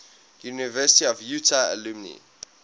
university of utah alumni